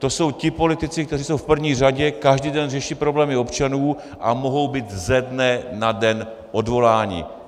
To jsou ti politici, kteří jsou v první řadě, každý den řeší problémy občanů a mohou být ze dne na den odvoláni.